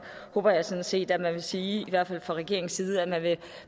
håber jeg sådan set at man vil sige i hvert fald fra regeringens side at man vil